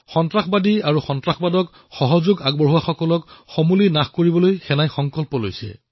সেনাসকলে সন্ত্ৰাসবাদী আৰু তেওঁলোকৰ সমৰ্থনকাৰীসকলক সমুলংশে ধ্বংস কৰাৰ সংকল্প গ্ৰহণ কৰিছে